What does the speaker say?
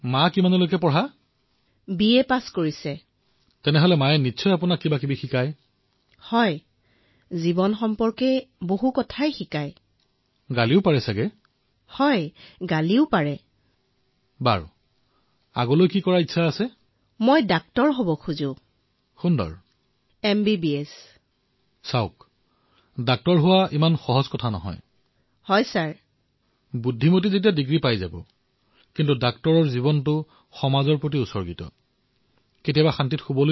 আচ্ছা এইটো কওক যে আপোনাৰ আটাইতকৈ ডাঙৰ প্ৰেৰণা কোন